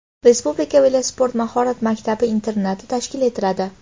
Respublika velosport mahorat maktab-internati tashkil etiladi.